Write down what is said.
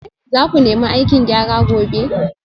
Za ku nemi aikin gyara gobe